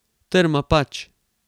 Trma, pač.